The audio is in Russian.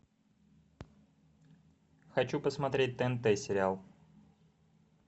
хочу посмотреть тнт сериал